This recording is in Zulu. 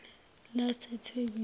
lasethekwini